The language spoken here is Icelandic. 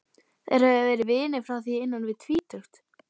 Þeir höfðu verið vinir frá því innan við tvítugt.